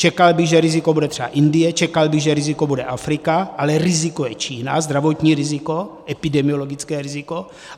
Čekal bych, že riziko bude třeba Indie, čekal bych, že riziko bude Afrika, ale riziko je Čína - zdravotní riziko, epidemiologické riziko.